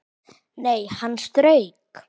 Nei, hann strauk